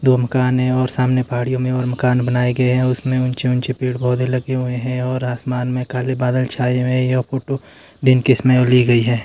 दो मकान हैं और सामने पहाड़ियों में और मकान बनाए गए हैं उसमें ऊंचे ऊंचे पेड़ पौधे लगाए गए हैं और आसमान में काले बादल छाए हुए हैं यह फोटो दिन के समय की गई है।